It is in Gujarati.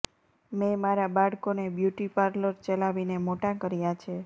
મેં મારા બાળકોને બ્યૂટી પાર્લર ચલાવીને મોટા કર્યા છે